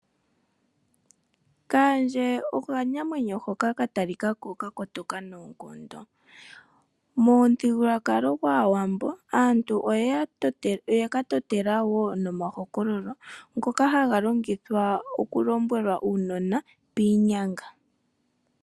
Kaandja okanamwenyo hoka katalikako kakotoka noonkondo. Momuthigululwakalo gwaawambo aantu oyeka totela wo omahokololo ngoka haga longithwa okulombwela uunona piinyanga.